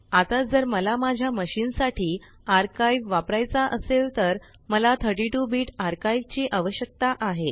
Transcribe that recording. आता जर मला माझ्या मशीन साठी आर्काइव वापरायचा असेल तर मला 32 बिट आर्काइव ची आवश्यकता आहे